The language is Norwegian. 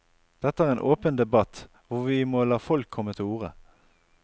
Dette er en åpen debatt hvor vi må la folk komme til orde.